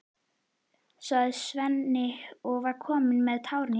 sagði Svenni og var kominn með tárin í augun.